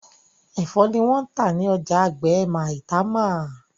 ẹfọ ni wón tá ní ọjà àgbè Maitama